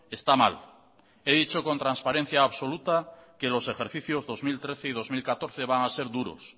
está mal he dicho con transparencia absoluta que los ejercicios dos mil trece y dos mil catorce van a ser duros